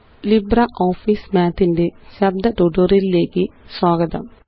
LibreOffice Math ന്റെ ശബ്ദ ട്യൂട്ടോറിയലിലേയ്ക്ക് സ്വാഗതം